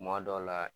Kuma dɔw la